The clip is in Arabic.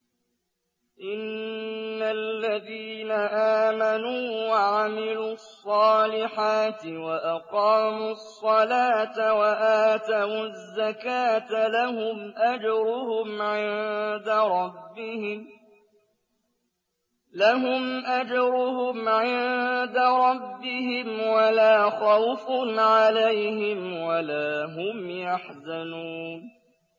إِنَّ الَّذِينَ آمَنُوا وَعَمِلُوا الصَّالِحَاتِ وَأَقَامُوا الصَّلَاةَ وَآتَوُا الزَّكَاةَ لَهُمْ أَجْرُهُمْ عِندَ رَبِّهِمْ وَلَا خَوْفٌ عَلَيْهِمْ وَلَا هُمْ يَحْزَنُونَ